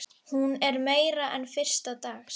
Hún er meira en fyrsta dags.